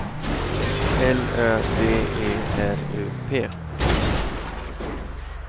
L Ö D E R U P